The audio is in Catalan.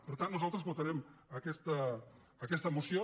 per tant nosaltres votarem aquesta moció